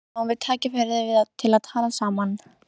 Þannig fáum við tækifæri til að tala saman